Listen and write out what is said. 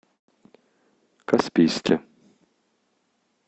каспийске